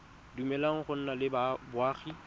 dumeleleng go nna le boagi